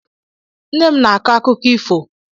Nne m na-akọ akụkọ ifo.